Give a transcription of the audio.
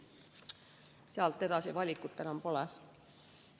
Sealt edasi valikut enam pole.